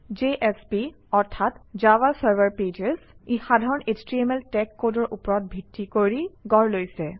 JSP অৰ্থাৎ Java server pages ই সাধাৰণ এছটিএমএল টেগ কডৰ ওপৰত ভিত্তি কৰি গঢ় লৈছে